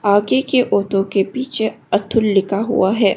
आगे के ऑटो के पीछे अतुल लिखा हुआ है।